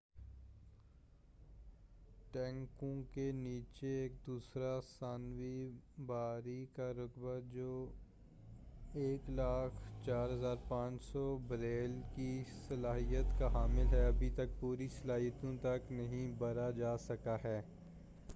ٹینکوں کے نیچے ایک دوسرا ثانوی بھرائی کا رقبہ جو 104،500 بیرل کی صلاحیت کا حامل ہے، ابھی تک پوری صلاحیت تک نہیں بھرا جا سکا ہے۔